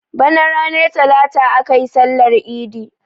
Bana ranar talata aka yi sallar idi.